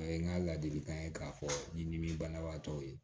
A ye n ka ladilikan ye k'a fɔ nin ni dimi banabaatɔ ye